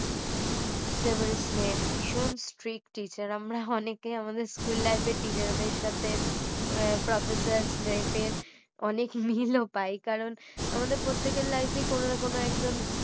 সেভারে স্ন্যাপে ভীষণ strict teacher আমরা অনেকেই আমাদের school life এ teacher দের সাথে professor স্ন্যাপের অনেক মিল ও পাই কারণ আমাদের প্রত্যেকের life এ কোনো না কোনো একজন